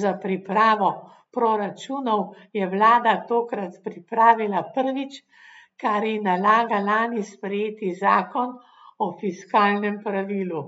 za pripravo proračunov je vlada tokrat pripravila prvič, kar ji nalaga lani sprejeti zakon o fiskalnem pravilu.